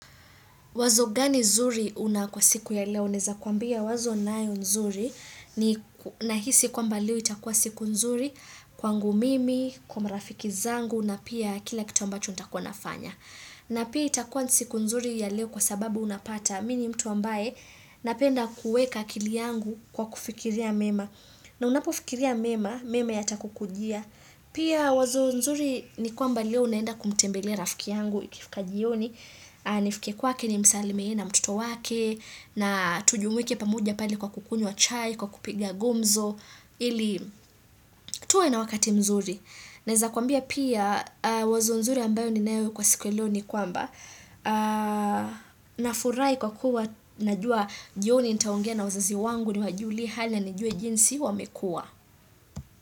Wazo gani zuri una kwa siku ya leo naeza kwambia wazo ninayo nzuri nahisi kwamba leo itakuwa siku nzuri kwangu mimi, kwa marafiki zangu na pia kila kitu ambacho ntakuwa nafanya. Na pia itakuwa siku nzuri ya leo kwa sababu unapata mimi ni mtu ambaye napenda kuweka akili yangu kwa kufikiria mema. Na unapofikiria mema, mema yatakukujia. Pia wazo nzuri ni kwamba leo naenda kumtembele rafiki yangu, ikifika jioni, nifike kwake nimsalie yeye na mtoto wake, na tujumuike pamoja pale kwa kukunywa chai, kwa kupiga gumzo, ili tuwe na wakati mzuri. Naweza kuambia pia wazo nzuri ambalo ninalo kwa siku ya leo ni kwamba nafurahi kwa kuwa najua jioni nitaongea na wazazi wangu niwajulie hali na nijue jinsi wamekuwa.